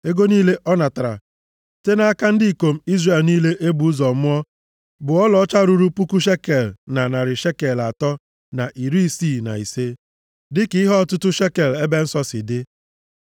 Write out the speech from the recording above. Ego niile ọ natara site nʼaka ndị ikom Izrel niile e bụ ụzọ mụọ bụ ọlaọcha ruru puku shekel na narị shekel atọ na iri isii na ise (1,365), dịka ihe ọtụtụ shekel ebe nsọ si dị.